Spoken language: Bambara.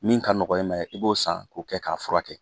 Min ka nɔgɔ i ma i b'o san k'o kɛ k'a furakɛ